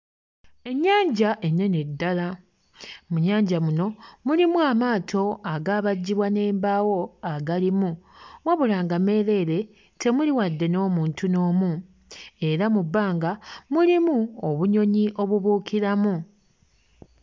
Ennyanja ennene ddala, mu nnyanja muno mulimu amaato agaabajjibwa n'embaawo agalimu wabula nga meereere temuli wadde n'omuntu n'omu, era mu bbanga mulimu obunyonyi obubuukiramu.